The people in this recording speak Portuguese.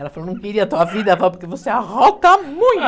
Ela falou, não queria a tua vida, avó, porque você arrota muito.